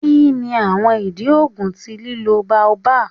Kini awọn idi oogun ti lilo baobab?